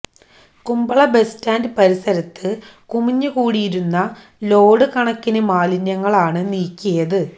Kumbla bus stand പരിസരത്ത് കുമിഞ്ഞുകൂടിയിരുന്ന load കണക്കിന് മാലിന്യങ്ങളാണ് നീക്കിയത്